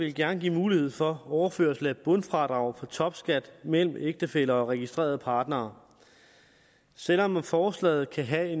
vil gerne give mulighed for overførsel af et bundfradrag for topskat mellem ægtefæller og registrerede partnere selv om forslaget kan have